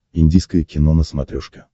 индийское кино на смотрешке